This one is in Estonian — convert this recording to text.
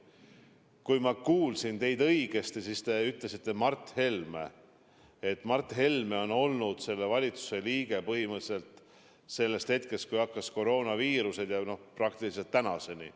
Kui ma kuulsin õigesti, siis te viitasite Mart Helmele, kes on olnud selle valitsuse liige põhimõtteliselt alates hetkest, kui koroonaviirus ilmus, ja praktiliselt tänaseni.